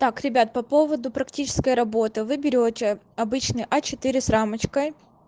так ребят по поводу практической работы вы берете обычный а четыре с рамочкой